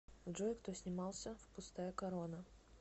джой кто снимался в пустая корона